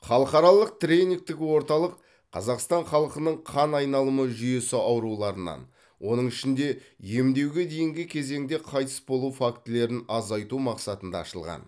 халықаралық тренингтік орталық қазақстан халқының қан айналымы жүйесі ауруларынан оның ішінде емдеуге дейінгі кезеңде қайтыс болу фактілерін азайту мақсатында ашылған